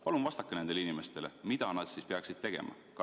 Palun vastake nendele inimestele, mida nad peaksid tegema!